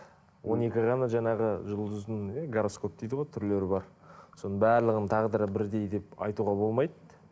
он екі ғана жаңағы жұлдыздың иә гороскоп дейді ғой түрлері бар соның барлығының тағдыры бірдей деп айтуға болмайды